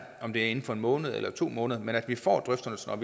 om det er inden for en måned eller to måneder men at vi får drøftelserne